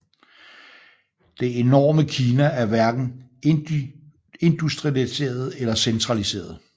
Det enorme Kina er hverken industrialiseret eller centraliseret